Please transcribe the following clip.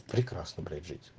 прекрасно блять жить